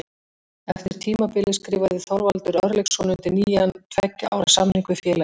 Eftir tímabilið skrifaði Þorvaldur Örlygsson undir nýjan tveggja ára samning við félagið.